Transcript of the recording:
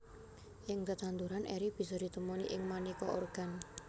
Ing tetanduran eri bisa ditemoni ing manéka organ